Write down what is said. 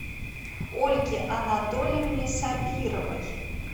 ольге анатольевне сабировой